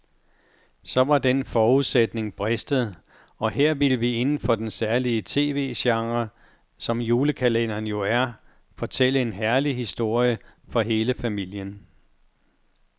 Så var den forudsætning bristet, at her ville vi inden for den særlige tv-genre, som julekalenderen jo er, fortælle en herlig historie for hele familien.